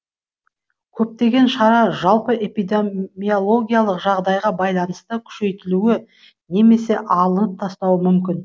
көптеген шара жалпы эпидемиологиялық жағдайға байланысты күшейтілуі немесе алынып тасталуы мүмкін